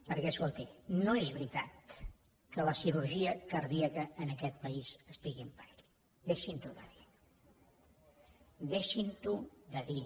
perquè escolti no és veritat que la cirurgia cardíaca en aquest país estigui en perill deixin ho de dir deixin ho de dir